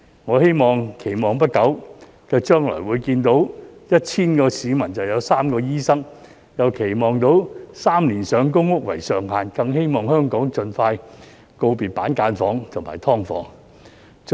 我期望在不久的將來，會看到每 1,000 個市民就有3個醫生，又期望看到3年上公屋為上限，更期望香港盡快告別板間房和"劏房"。